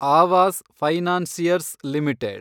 Awas financiers limited